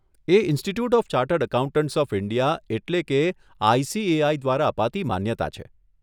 A Institute of Chartered Accountants of India એટલે કે ICAI દ્વારા અપાતી માન્યતા છે.